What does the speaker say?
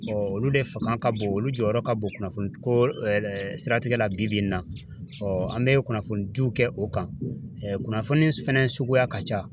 olu de fanga ka bon olu jɔyɔrɔ ka bon kunnafoni ko siratigɛ la bi bi in na an bɛ kunnafoni diw kɛ o kan kunnafoni fɛnɛ suguya ka ca.